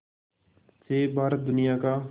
से भारत दुनिया का